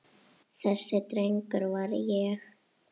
Þessi drengur var ég.